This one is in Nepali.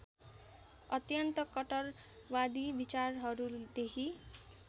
अत्यन्त कट्टरवादी विचारहरूदेखि